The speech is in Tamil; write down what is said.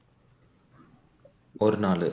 ஒரு நாள்